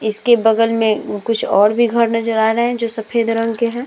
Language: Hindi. इसके बगल में कुछ और भी घर नज़र आ रहे है जो सफेद रंग के है ।